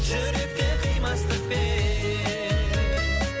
жүректе қимастықпен